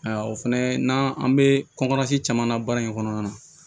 Ayiwa o fɛnɛ n'an an be kɔnkɔsi caman na baara in kɔnɔna na